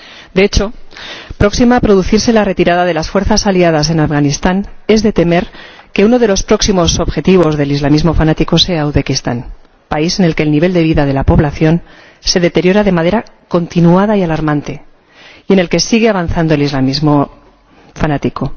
De hecho, próxima a producirse la retirada de las fuerzas aliadas en Afganistán, es de temer que uno de los próximos objetivos del islamismo fanático sea Uzbekistán, país en el que el nivel de vida de la población se deteriora de manera continuada y alarmante, y en el que sigue avanzando el islamismo fanático.